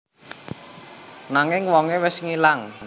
Nanging wongé wis ngilang